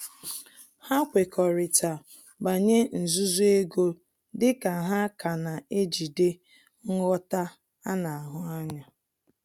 Ha kwekọrịta banyere nzuzo ego dị ka ha ka na-ejide nghọta ana ahụ anya